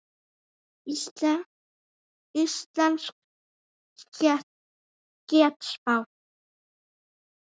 Íslensk getspá.